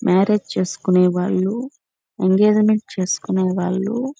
marriage చేసుకునే వాళ్ళు ఎంగేజ్మెంట్లు చేసుకునేవాళ్ళు--